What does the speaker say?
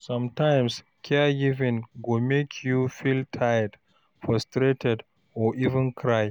Sometimes caregiving go make you feel tired, frustrated or even cry